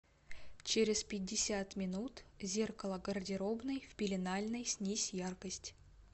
через пятьдесят минут зеркало гардеробной в пеленальной снизь яркость